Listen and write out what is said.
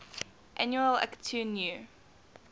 annual akitu new